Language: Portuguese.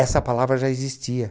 Essa palavra já existia.